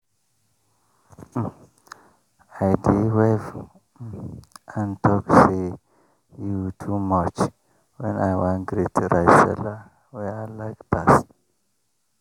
um i dey wave um hand talk say “you too much!” when i wan greet rice seller wey i like pass.